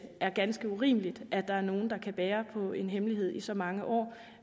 er ganske urimeligt at der er nogle der kan bære på en hemmelighed i så mange år